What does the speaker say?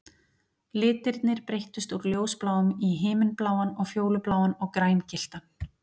Litirnir breyttust úr ljósbláum í himinbláan og fjólubláan og grængylltan